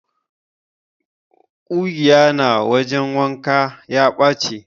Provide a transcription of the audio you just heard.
ƙugiya na wajen wanka ya ɓache.